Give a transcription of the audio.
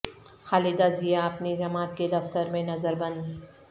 خالدہ ضیا اپنی جماعت کے دفتر میں نظر بند